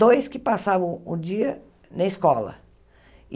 Dois que passavam o dia na escola.